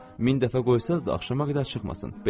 Amma ola bilər min dəfə qoysanız da axşama qədər çıxmasın.